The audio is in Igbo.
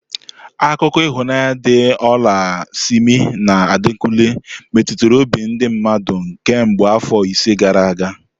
Akụkọ ịhụnanya di ola Simi na Adekunle meturu obi ndi mmadu kemgbe afọ ise gara aga.